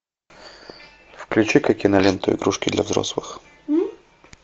включи ка киноленту игрушки для взрослых